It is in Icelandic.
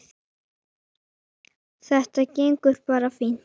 Þetta gengur bara fínt.